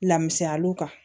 Lamusyaliw kan